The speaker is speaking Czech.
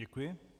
Děkuji.